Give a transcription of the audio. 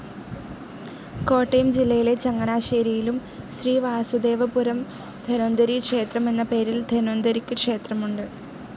കോട്ടയം ജില്ലയിലെ ചങ്ങനാശേരിയിലും ശ്രീ വാസുദേവപുരം ധന്വന്തരീ ക്ഷേത്രം എന്ന പേരിൽ ധന്വന്തരിക്ക് ക്ഷേത്രമുണ്ട്.